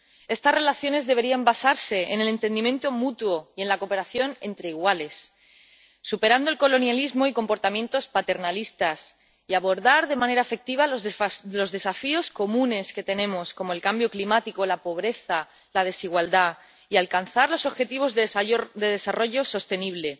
Estas relaciones deberían basarse en el entendimiento mutuo y en la cooperación entre iguales, superando el colonialismo y comportamientos paternalistas, y abordar de manera efectiva los desafíos comunes que tenemos —como el cambio climático, la pobreza y la desigualdad— y alcanzar los objetivos de desarrollo sostenible,